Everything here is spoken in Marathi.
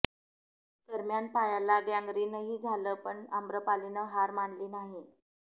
दरम्यान पायाला गँगरिनही झालं पण आम्रपालीनं हार मानली नाही